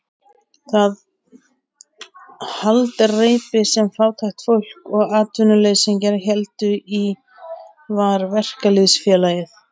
Það haldreipi sem fátækt fólk og atvinnuleysingjar héldu í var verkalýðsfélagið.